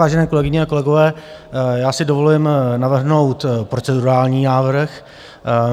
Vážené kolegyně a kolegové, já si dovolím navrhnout procedurální návrh.